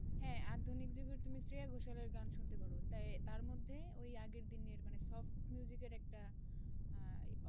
শিল্পি, হ্যাঁ আধুনিক যুগের বলতে তুমি শ্রেয়া ঘোষালের গান শুনতে পারো, তাই তার মধ্যে ওই আগের দিনের মানে soft এর একটা আহ